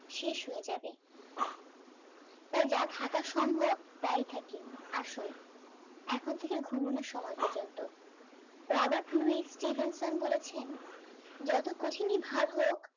শেষ হয়ে যাবে তো যা থাকার সম্ভব তাই থাকি আসুন এখন থেকে ঘুমোনোর সময় পর্যন্ত রবার্ট লুই স্টিভেনশন বলেছেন যত কঠিনই ভাগ হোক